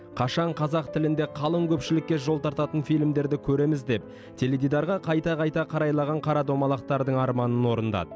қашан қазақ тілінде қалың көпшілікке жол тартатын фильмдерді көреміз деп теледидарға қайта қайта қарайлаған қарадомалақтардың арманын орындады